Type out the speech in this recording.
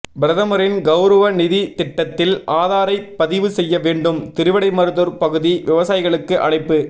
பிரதமரின் கவுரவ நிதி திட்டத்தில் ஆதாரை பதிவு செய்ய வேண்டும் திருவிடைமருதூர் பகுதி விவசாயிகளுக்கு அழைப்பு